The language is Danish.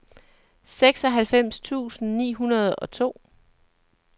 seksoghalvfems tusind ni hundrede og to